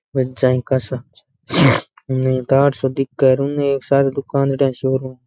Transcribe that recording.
उने एक तार सो दिखे उने एक सारे दुकानड़ी सी ओरु --